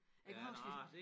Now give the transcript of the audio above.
Jeg kan huske vi